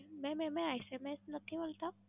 Ma'am એમાં SMS નથી આવતાં?